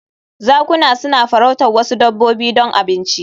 Zakuna suna farautar wasu dabbobi don abinci